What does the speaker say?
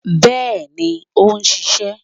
Bẹ́ẹ̀ni ó n sisé